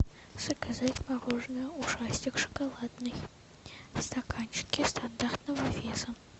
заказать мороженое ушастик шоколадный в стаканчике стандартного веса